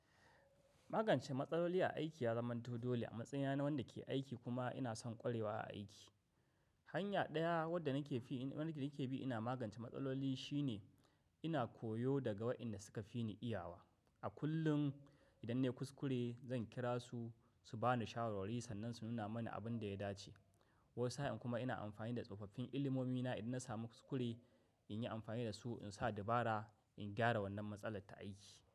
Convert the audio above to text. Magance matsaloli a aiki ya zama dole a matsayina na wanda ke aiki kuma ina son ƙwarewa a aiki. Hanya ɗaya wadda nake bi ina magance matsaloli shine ina koyo daga waɗanda suka fi ni iyawa. A kullum idan na yi kuskure zan kira su, su ba ni shawarwari sannan su nuna mani abin da ya dace. Wata sa'in kuma ina amfani da tsofaffin ilimomina idan na samu kuskure in yi amfani da su in sa dabara in gyara wannan matsalar ta aiki.